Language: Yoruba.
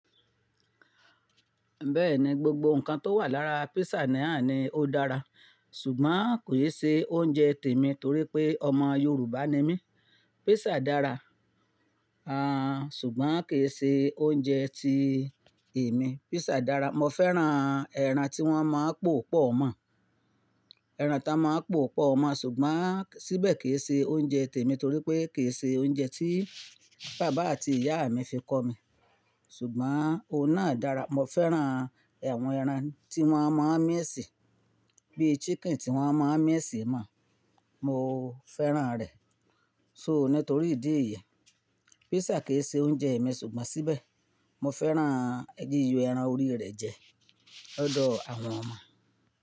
Bẹ́ẹ̀ni, gbogbo nǹkan tó wà lára písà náà ni ó dára ṣùgbọ́n kò e ṣe oúnjẹ tèmi torí pé ọmọ Yorùbá ni mí. Písà dára, ṣùgbọ́n kì í ṣe oúnjẹ tii èmi. Písà dára, mo fẹ́ràn ẹran tí wọ́n máa ń pòo pọ̀ mọ́, ẹran tí won máa ń pòo pọ̀ mọ́, ṣùgbọ́n síbẹ̀ kì í ṣe oúnjẹ tèmi torí pé kì í ṣe oúnjẹ tí bàbá àti ìyá mi fi kọ́ mi ṣùgbọ́n òun náà dára. Mo fẹ́ràn àwọn ẹran tí wọ́n máa ń miisí bi chicken tí wọ́n máa ń miisí mon, mo fẹ́ràn rẹ̀. So, nítorí ìdí èyí, písà kì í ṣe oúnjẹ èmi ṣùgbọ́n síbẹ̀ mo fẹ́ràn yíyo ẹran orí rẹ̀ jẹ lọ́dọ̀ àwọn ọmọ.